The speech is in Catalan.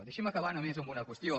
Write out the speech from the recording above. deixi’m acabar només amb una qüestió